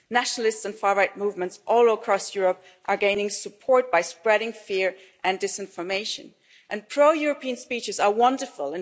Nationalists and far right movements all across Europe are gaining support by spreading fear and disinformation and pro European speeches are wonderful